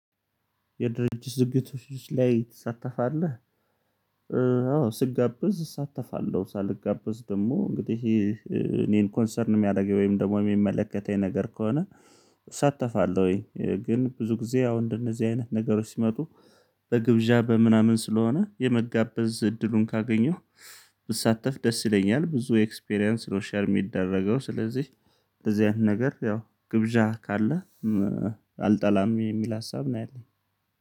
የድርጅት ዝግቶች ላይ ትሳተፋለህ? አዎ ስጋበዝ እሳተፋለሁ ሳልጋበዝ ደግሞ እንግዲህ ይሄ እኔን ኮንሰርን የሚያደርገኝ ወይም ደግሞ የሚመለከተኝ ነገር ከሆነ። እሳተፋለሁኝ ግን ብዙ ጊዜ አሁን እንደነዚህ አይነት ነገሮች ሲመጡ። በግብዣ በምናምን ስለሆነ የመጋበዝ እድሉን ካገኘሁ ብሳተፍ ደስ ይለኛል ብዙ ኤክስፒሪያንስ ነው። ሼር የሚደረገው ስለዚህ በዚያን ነገር ያው ግብዣ ካለ። አልጠላም የሚል ሀሳብ ነው ያለኝ